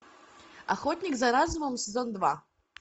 охотник за разумом сезон два